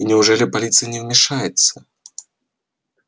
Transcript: и неужели полиция не вмешивается